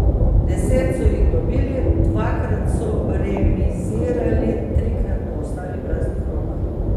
Deset so jih dobili, dvakrat so remizirali, trikrat pa ostali praznih rok.